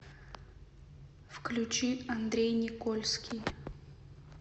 включи андрей никольский